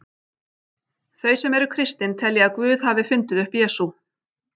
Þau sem eru kristin telja að Guð hafi fundið upp Jesú.